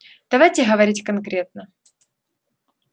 давайте говорить конкретно